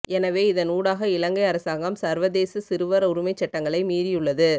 எனவே இதன் ஊடாக இலங்கை அரசாங்கம் சர்வதேச சிறுவர் உரிமைச் சட்டங்களை மீறியுள்ளது